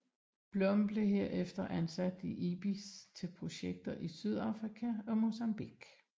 Blom blev herefter ansat i IBIS til projekter i Sydafrika og Mozambique